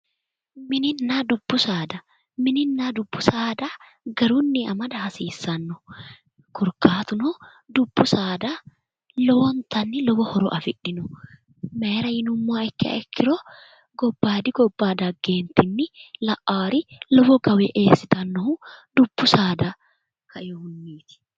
Mininna dubbu saada, mininna dubbi saada garinni amada hasiisano korkaatuno dubbu saada lowontanni lowo horo afidhino, maayira yinnummoha ikkiha ikkiro gobbaadi gobbanni dagge la"awuri lowo gawe eessittanohu dubbu saadawiniti